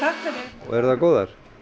og eru þær góðar